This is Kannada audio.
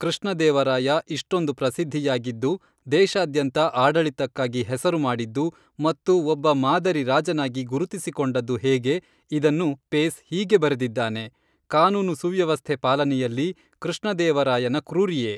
ಕೃಷ್ಣ ದೇವರಾಯ ಇಷ್ಟೊಂದು ಪ್ರಸಿದ್ಧಿಯಾಗಿದ್ದು ದೇಶಾದ್ಯಂತ ಆಡಳಿತಕ್ಕಾಗಿ ಹೆಸರು ಮಾಡಿದ್ದು ಮತ್ತು ಒಬ್ಬ ಮಾದರಿ ರಾಜನಾಗಿ ಗುರುತಿಸಿಕೊಂಡದ್ದು ಹೇಗೆ ಇದನ್ನು ಪೇಸ್ ಹೀಗೆ ಬರೆದಿದ್ದಾನೆ ಕಾನೂನು ಸುವ್ಯವಸ್ಥೆ ಪಾಲನೆಯಲ್ಲಿ ಕೃಷ್ಣ ದೇವರಾಯನ ಕ್ರೂರಿಯೇ